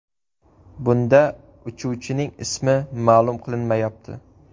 Bunda uchuvchining ismi ma’lum qilinmayapti.